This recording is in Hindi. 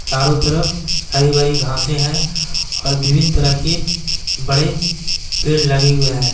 चारों तरफ हरी-भरी घासे है और विभिन्न तरह के बड़े पेड लगे हुए हैं।